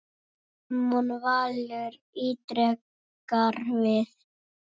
Ármann Valur ítrekar við